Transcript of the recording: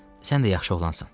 Sən də yaxşı oğlansan.